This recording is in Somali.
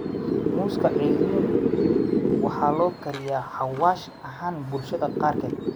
Muuska ceeriin waxaa loo kariyaa xawaash ahaan bulshada qaarkeed.